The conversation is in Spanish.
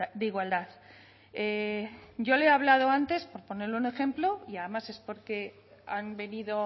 de igualdad yo le he hablado antes por ponerle un ejemplo y además es porque han venido